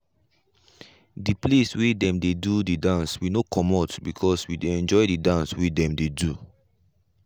de place wey dem dey do dance we no comot because we dey enjoy the dance wey dem dey do.